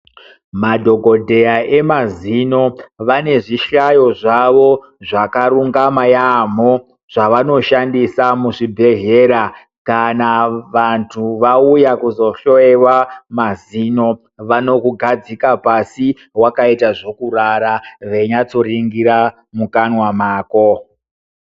Madhokodheya emazino vane zvihlayo zvavo zvakarungama yaamho zvavanoshandisa muzvibhedhlera kana vantu vauya kuzohloyewa mazino. Vanokugadzika pasi wakaita zvekurara veinyatsoringira mukanwa mako.